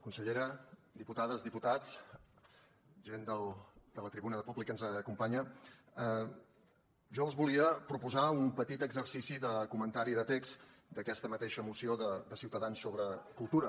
consellera diputades diputats gent de la tribuna de públic que ens acompanya jo els volia proposar un petit exercici de comentari de text d’aquesta mateixa moció de ciutadans sobre cultura